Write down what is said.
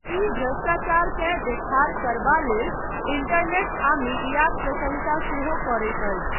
ई भ्रष्टाचारकेँ देखार करबा लेल इंटरनेट आ मीडियाक प्रशंसा सेहो करैत अछि।